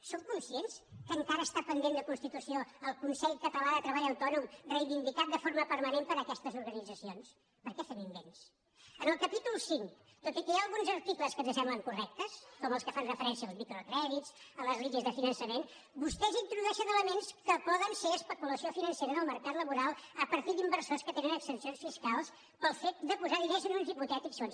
són conscients que encara està pendent de constitució el consell català de treball autònom reivindicat de forma permanent per aquestes organitzacions per què fem invents en el capítol v tot i que hi ha alguns articles que ens semblen correctes com els que fan referència als microcrèdits a les línies de finançament vostès hi introdueixen elements que poden ser especulació financera en el mercat laboral a partir d’inversors que tenen exempcions fiscals pel fet de posar diners en uns hipotètics fons